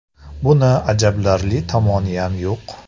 Buni ajablanarli tomoniyam yo‘q.